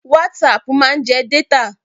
WhatsApp máa ń jẹ data.